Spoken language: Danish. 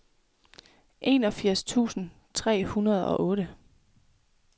enogfirs tusind fire hundrede og otte